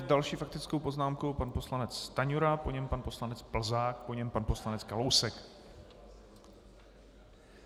S další faktickou poznámkou pan poslanec Stanjura, po něm pan poslanec Plzák, po něm pan poslanec Kalousek.